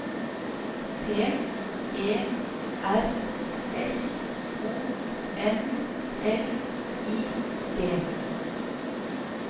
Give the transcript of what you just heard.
P E R S O N L I G